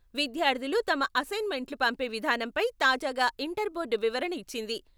విద్యార్థులు తమ అసైన్మెంట్లు పంపే విధానంపై తాజాగా ఇంటర్ బోర్డు వివరణ ఇచ్చింది.